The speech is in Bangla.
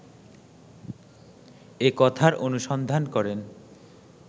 এ কথার অনুসন্ধান করেন